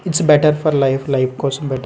it's better for life life కోసం --